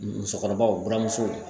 Musokɔrɔbaw buramuso